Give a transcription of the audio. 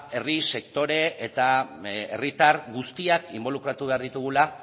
herri sektore eta herritar guztiak inbolukratu behar ditugula